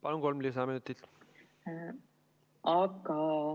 Palun, kolm lisaminutit!